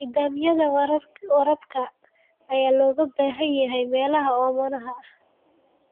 Nidaamyada waraabka ayaa looga baahan yahay meelaha oomanaha ah.